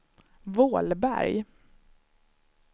Vålberg